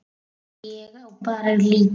Ég á bara lítið.